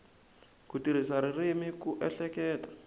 ku tirhisa ririmi ku ehleketa